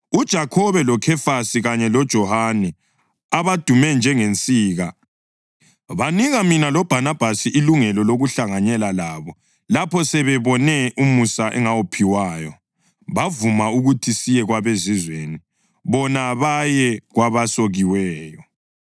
UJakhobe, loKhefasi kanye loJohane, abadume njengensika, banika mina loBhanabhasi ilungelo lokuhlanganyela labo lapho sebebone umusa engawuphiwayo. Bavuma ukuthi siye kwabeZizweni, bona baye kwabasokiweyo.